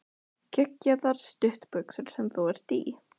Geggjaðar stuttbuxur sem þú ert í!